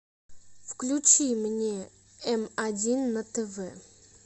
включи мне эм один на тв